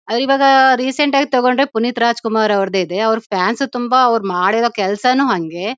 ಅವ್ರಿವಾಗ recent ಆಗಿ ತೊಕೊಂಡ್ರೆ ಪುನೀತ್ ರಾಜಕುಮಾರ ಅವ್ರದಿದೆ. ಅವ್ರ್ ಫ್ಯಾನ್ಸ್ ತುಂಬಾ ಅವ್ರ್ ಮಾಡಿರೋ ಕೆಲಸನು ಹಂಗೆ.